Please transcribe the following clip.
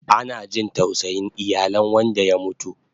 Ana jin tausayin iyalen wanda ya mutu